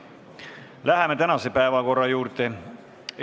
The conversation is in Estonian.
Läheme tänase päevakorra juurde!